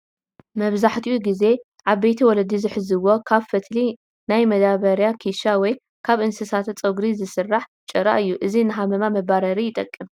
መብዛሕትኡ ጊዜ ዒበይቲ ወለዲ ዝሕዝዎ ካብ ፈትሊ ናይ መዳበሪያ ኪሻ ወይ ካብ ናይ እንስሳ ፀጉሪ ዝስራሕ ጭራ እዩ፡፡ እዚ ንሃመማ መባረሪ ይጠቅም፡፡